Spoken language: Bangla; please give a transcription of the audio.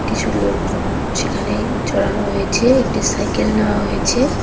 কিছু লোকজন সেখানে চড়ানো হয়েছে একটি সাইকেল নেওয়া হয়েছে।